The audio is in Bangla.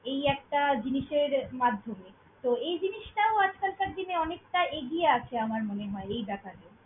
এই একটা জিনিসের মাধ্যমে তো এই জিনিসটাও আজকালকার দিনে অনেকটা এগিয়ে আছে আমার মনে হয়, এই ব্যাপারটা তে।